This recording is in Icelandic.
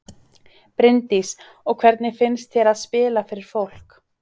Bryndís: Og hvernig finnst þér að spila fyrir fólk?